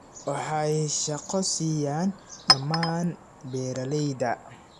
Waxay shaqo siiyaan dhammaan beeralayda.